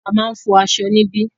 A máà ń fọ aṣọ níbí.